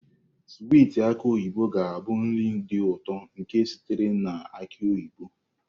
Swiiti aki oyibo ga-abụ nri dị ụtọ nke sitere na aki oyibo.